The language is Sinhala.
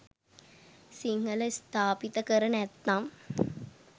සිංහල ස්ථාපිත කර නැත්නම්